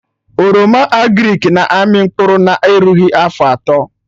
Oroma agrịk na-amị mkpụrụ na erughị afọ atọ